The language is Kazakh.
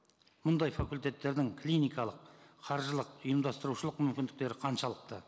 мұндай факультеттердің клиникалық қаржылық ұйымдастырушылық мүмкіндіктері қаншалықты